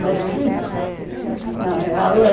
mais chique. Uhum. Na real é